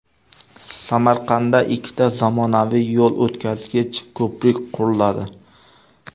Samarqandda ikkita zamonaviy yo‘l o‘tkazgich ko‘prik quriladi.